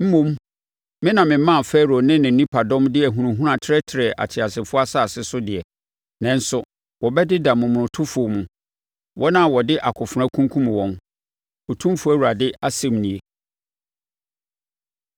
Mmom me na memaa Farao ne ne nipadɔm de ahunahuna trɛtrɛɛ ateasefoɔ asase so deɛ, nanso wɔbɛdeda momonotofoɔ mu, wɔn a wɔde akofena kunkumm wɔn, Otumfoɔ Awurade asɛm nie.”